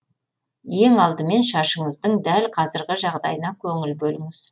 ең алдымен шашыңыздың дәл қазіргі жағдайына көңіл бөліңіз